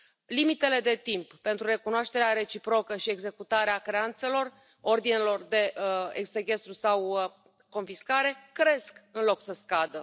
Limitele de timp pentru recunoașterea reciprocă și executarea creanțelor, a ordinelor de sechestru sau confiscare cresc, în loc să scadă.